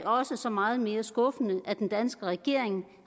også så meget mere skuffende at den danske regering